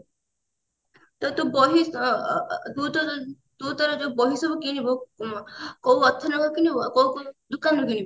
ତ ତୁ ବହି ଅ ଅ ଅ ତୁ ତ ତୁ ତୋର ଯୋଉ ବହି ସବୁ କିଣିବୁ କୋଉ author କିଣିବୁ ଆଉ କୋଉ କୋଉ ଦୋକାନ ରୁ କିଣିବୁ